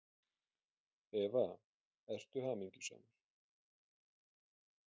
Eva: Ertu hamingjusamur?